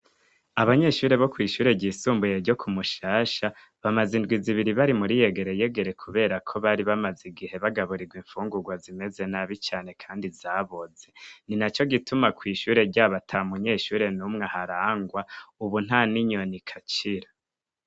Abanyeshure bo kw'ishure ryisumbuye ryo kumushasha bamaze indwi zibiri bari muri yegere yegere kubera ko bari bamaze igihe bagaburirwa imfungurwa zimeze nabi cane kandi zaboze. Ni naco gituma kw'ishure ryabo atamunyeshure n'umwe aharangwa ubu nta n'inyoni ikacira.